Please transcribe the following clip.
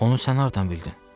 Onu sən hardan bildin?